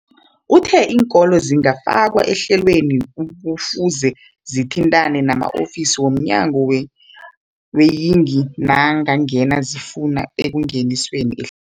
Uthe iinkolo ezingakafakwa ehlelweneli kufuze zithintane nama-ofisi wo mnyango weeyingi nangange zifuna ukungeniswa eh